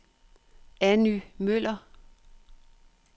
Anny Møller